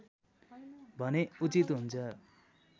भने उचित हुन्छ